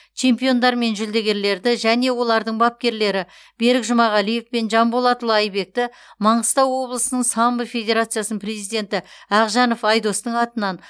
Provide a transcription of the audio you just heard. чемпиондар мен жүлдегерлерді және олардың бапкерлері берік жұмағалиев пен жанболатұлы айбекті маңғыстау облысының самбо федерациясының президенті ақжанов айдостың атынан